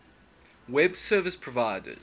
web service providers